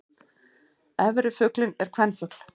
Efri fuglinn er kvenfugl.